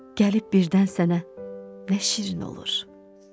gəlib birdən sənə nə şirin olur.